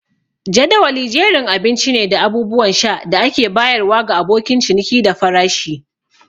Jadawali jerin abinci ne da abubuwan sha da ake bayarwa ga abokan ciniki da farashi.